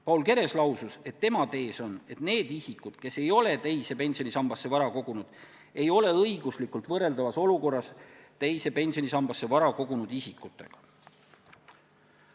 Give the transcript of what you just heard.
Paul Keres lausus, et tema tees on, et need isikud, kes ei ole teise pensionisambasse vara kogunud, ei ole õiguslikult võrreldavas olukorras teise pensionisambasse vara kogunud isikutega.